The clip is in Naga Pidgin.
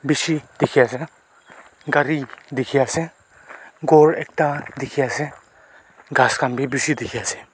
bishi dikhi ase na gari dikhi ase ghor ekta dikhi ase ghas khan bi bishi dikhi ase.